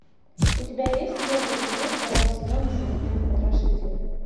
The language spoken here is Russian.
у тебя есть первый эпизод второго сезона современный потрошитель